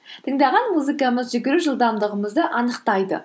тыңдаған музыкамыз жүгіру жылдамдығымызды анықтайды